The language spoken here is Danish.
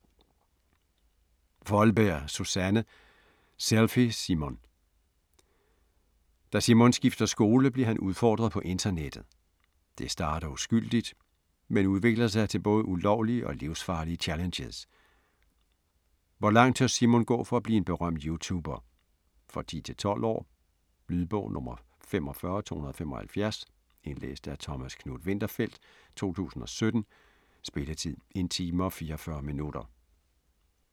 Foldberg, Susanne: Selfie Simon Da Simon skifter skole bliver han udfordret på internettet. Det starter uskyldigt, men udvikler sig til både ulovlige og livsfarlige challenges. Hvor langt tør Simon gå for at blive en berømt YouTuber? For 10-12 år. Lydbog 45275 Indlæst af Thomas Knuth-Winterfeldt, 2017. Spilletid: 1 time, 44 minutter.